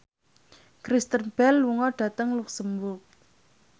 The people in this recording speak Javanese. Kristen Bell lunga dhateng luxemburg